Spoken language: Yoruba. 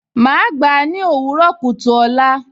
Màá gbà á ní òwúrọ̀ kùtù ọ̀la